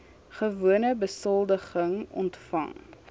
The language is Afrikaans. gewone besoldiging ontvang